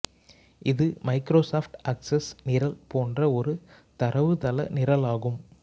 இது Microsoft Access நிரல் போன்ற ஒரு தரவுத்தள நிரலாகும்